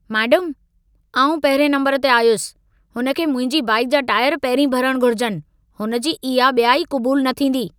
Madam, आउं पहिरिएं नंबरु ते आयुसि, हुन खे मुंहिंजी बाइक जा टाइर पहिरीं भरणु घुर्जनि। हुन जी इहा ॿियाई क़बूलु न थींदी।